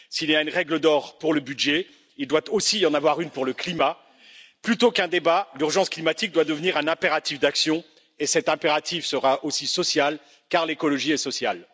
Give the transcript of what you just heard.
S'il y a une règle d'or pour le budget, il doit aussi y en avoir une pour le climat. Plutôt qu'un débat, l'urgence climatique doit devenir un impératif d'action et cet impératif sera aussi social car l'écologie est sociale.